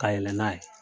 Ka yɛlɛ n'a ye